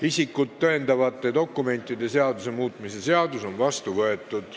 Isikut tõendavate dokumentide seaduse muutmise seadus on vastu võetud.